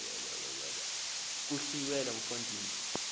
kuhlwile mfo ndini